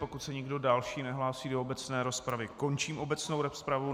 Pokud se nikdo další nehlásí do obecné rozpravy, končím obecnou rozpravu.